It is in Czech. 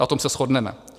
Na tom se shodneme.